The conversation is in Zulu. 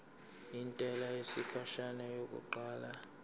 intela yesikhashana yokuqala